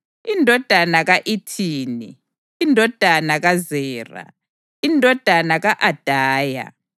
indodana ka-Ethini, indodana kaZera, indodana ka-Adaya,